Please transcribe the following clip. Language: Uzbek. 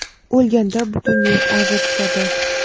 o‘lganda butun yurt aza tutadi..